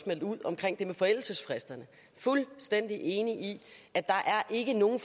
meldt ud omkring det med forældelsesfristerne fuldstændig enig i at der ikke er nogen